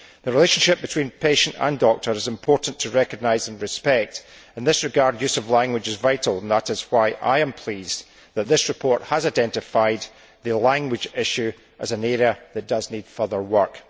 The relationship between patient and doctor is important to recognise and respect. In this regard, use of language is vital, and that is why I am pleased that this report has identified the language issue as an area that does need further work.